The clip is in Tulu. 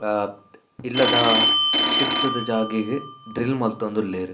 ಆ ಇಲ್ಲದ ತಿರ್ತುದ ಜಾಗೆಗ್ ಡ್ರಿಲ್ಲ್ ಮಂತೊಂದುಲ್ಲೆರ್.